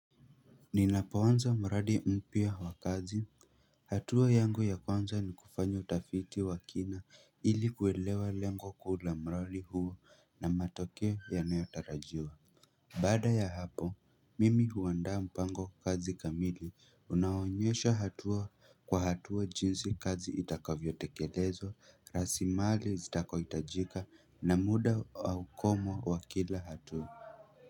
Ninapoanza mradi mpya wa kazi, hatua yangu ya kwanza ni kufanya utafiti wa kina ili kuelewa lengo kuu la mradi huu na matokeo yanayotarajiwa Baada ya hapo, mimi huanda mpango kazi kamili, unaonyesha hatua kwa hatua jinsi kazi itakavyotekelezo, rasimali zitako itajika na muda wa ukomo wa kila hatua.